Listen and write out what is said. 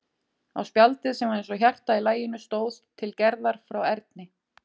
Á spjaldið, sem var eins og hjarta í laginu, stóð: Til Gerðar frá Erni.